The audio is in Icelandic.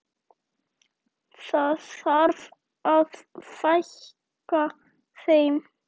Það þarf að fækka þeim.